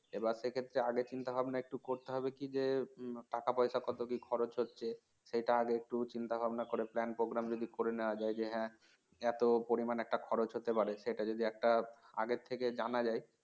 এবার সে ক্ষেত্রে আগে চিন্তা ভাবনা করতে হবে কী যে টাকাপয়সা কত কি খরচ হচ্ছে সেটা আগে একটু চিন্তা ভাবনা করে plan program যদি করে নেওয়া যায় যে হ্যাঁ এত পরিমাণ একটা খরচ হতে পারে সেটা যদি একটা আগের থেকে জানা যায়